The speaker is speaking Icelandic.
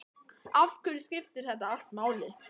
Af hverju skiptir þetta allt máli?